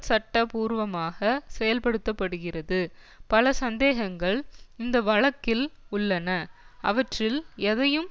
சட்ட பூர்வமாக செயல்படுத்த படுகிறது பல சந்தேகங்கள் இந்த வழக்கில் உள்ளன அவற்றில் எதையும்